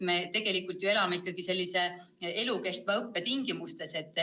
Me tegelikult ju elame ikkagi elukestva õppe tingimustes.